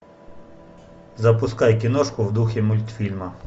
запускай киношку в духе мультфильма